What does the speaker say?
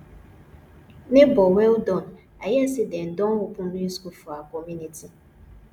nebor well done i hear sey dem don open new school for our community